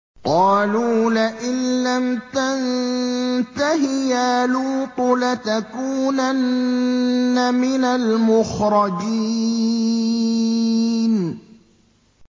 قَالُوا لَئِن لَّمْ تَنتَهِ يَا لُوطُ لَتَكُونَنَّ مِنَ الْمُخْرَجِينَ